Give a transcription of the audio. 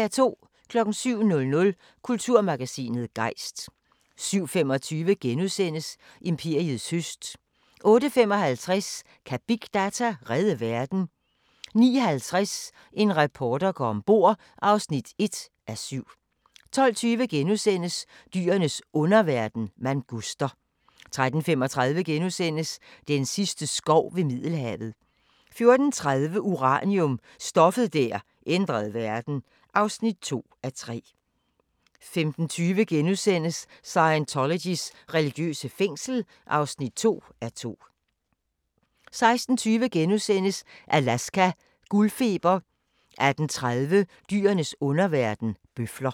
07:00: Kulturmagasinet Gejst 07:25: Imperiets høst * 08:55: Kan big data redde verden? 09:50: En reporter går om bord (1:7) 12:20: Dyrenes underverden – manguster * 13:35: Den sidste skov ved Middelhavet * 14:30: Uranium – stoffet der ændrede verden (2:3) 15:20: Scientologys religiøse fængsel (2:2)* 16:20: Alaska – guldfeber * 18:30: Dyrenes underverden – bøfler